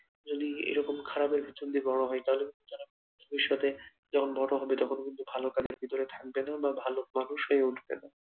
যদি এরকম খারাপের মধ্যে বড় হয় তাহলে তারা ভবিষ্যতে যখন বড় হবে তখন কিন্তু ভালোর পিছনে থাকবে না বা ভালো মানুষ হয়ে উঠবে না।